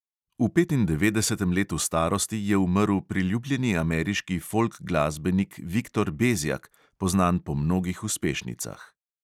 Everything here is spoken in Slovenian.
V petindevetdesetem letu starosti je umrl priljubljeni ameriški folk glasbenik viktor bezjak, poznan po mnogih uspešnicah.